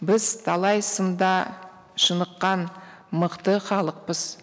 біз талай сында шыныққан мықты халықпыз